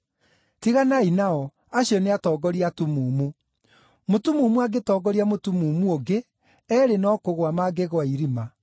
Tiganai nao; acio nĩ atongoria atumumu. Mũtumumu angĩtongoria mũtumumu ũngĩ, eerĩ no kũgũa mangĩgũa irima.”